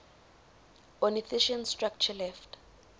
ornithischian structure left